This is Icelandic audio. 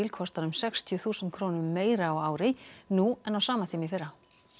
kostar um sextíu þúsund krónum meira á ári nú en á sama tíma í fyrra